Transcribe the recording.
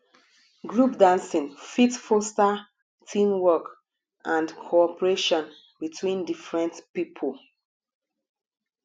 group dancing fit foster team work and cooperation between different pipo